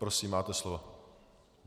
Prosím, máte slovo.